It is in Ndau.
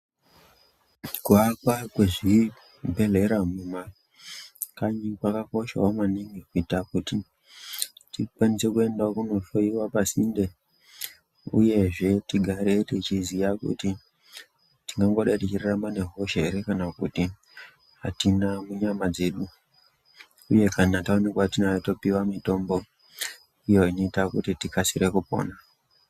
Kuakwa kwezvibhedhlera mumakanyi kwakakoshawo maningi kuita kuti tikwanise kuendawo kundohloyiwa pasinde uyezve tigare teiziya kuti tingangodai tichirarama nehosha ere kana kuti atina munyama dzedu uye kana taonekwa tinayo topiwa mitombo iyo inoita kuti tikasire kupona.